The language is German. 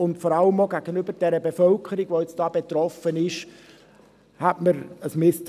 Vor allem hätte man von der Bevölkerung, die davon betroffen ist, ein Misstrauen.